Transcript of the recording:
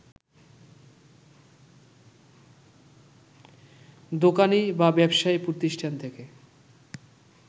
দোকানী বা ব্যবসায়ী প্রতিষ্ঠান থেকে